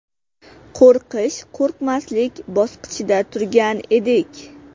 Qo‘rqish-qo‘rqmaslik bosqichida turgan edik.